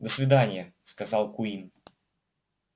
до свидания сказал куинн